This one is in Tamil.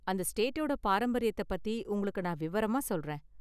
அந்த ஸ்டேட்டோட பாரம்பரியத்த பத்தி உங்களுக்கு நான் விவரமா சொல்றேன்